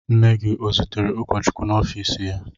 Nne gị o zutere ụkọchukwu n'ọfiisi ya?